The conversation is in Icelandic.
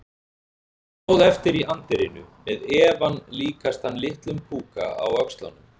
Ég stóð eftir í anddyrinu- með efann líkastan litlum púka á öxlunum.